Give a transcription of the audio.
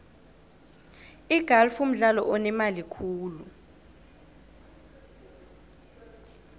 igalfu mdlalo onemali khulu